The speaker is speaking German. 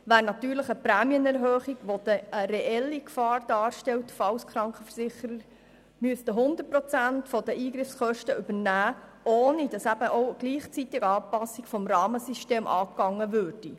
Diese stellt eine reelle Gefahr dar, falls die Krankenversicherer 100 Prozent der Eingriffskosten übernehmen müssten, ohne dass eine gleichzeitige Anpassung des Rahmensystems vorgenommen würde.